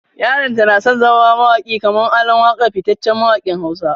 Yaranta na son ya zama mawaki kamar ALAN WAKA fitaccen mawakin Hausa.